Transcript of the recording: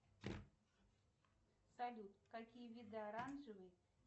салют какие виды оранжевый